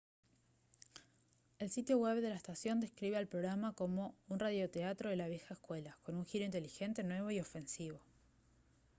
el sitio web de la estación describe al programa como «un radioteatro de la vieja escuela ¡con un giro inteligente nuevo y ofensivo!»